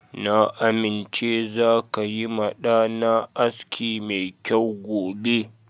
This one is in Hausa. Na amince zaka yi ma ɗa na aski mai kyau gobe.